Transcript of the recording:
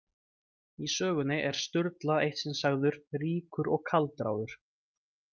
Í sögunni er Sturla eitt sinn sagður „ríkur og kaldráður“.